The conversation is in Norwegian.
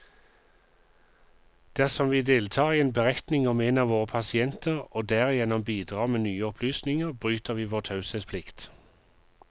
Dersom vi deltar i en beretning om en av våre pasienter, og derigjennom bidrar med nye opplysninger, bryter vi vår taushetsplikt.